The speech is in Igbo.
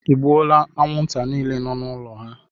Ịgbuole anwụnta niile nọ n'ụlọ ha?